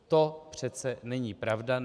To přece není pravda.